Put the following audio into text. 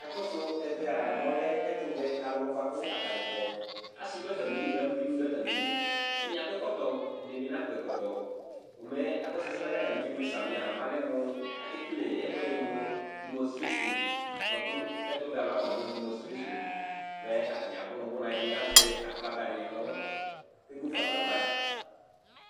Akɔsʋ ɛvɛ a, mɛ ɔlɛ ɛtʋvɛ alʋ bʋa kʋ atanɩ kɔ, asɩ dʋ atamɩli, aluvi bɩ dʋ atamɩli Ɛdɩnɩ akɔ ɛkɔtɔ, ɛdɩnɩ bɩ nakɔ ɛkɔtɔ, komɛ akɔsʋ ɛsɛ yɛ kʋ atanɩ kewle samɩ a mɛ alɛ mʋ akekele ɛkʋɛdɩ mʋ demɔstresin bʋa kʋ ɛtʋvɛ alʋ wanɩ afɔnazɔ nʋ demɔstresin, mɛ atanɩ abʋ nʋ ʋbʋna, ɛdɩnɩ azɛ aflaga dɩ nʋ kʋ emu fa nʋ ava